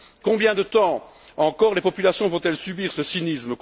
Combien de temps encore les populations vont elles subir ce cynisme?